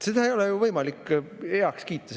Sellist praktikat ei ole võimalik heaks kiita.